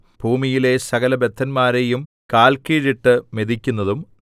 ഭൂമിയിലെ സകലബദ്ധന്മാരെയും കാല്കീഴിട്ട് മെതിക്കുന്നതും